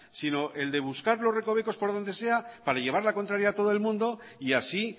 sino el de buscar los recovecos por donde sea para llevar la contraria a todo el mundo y así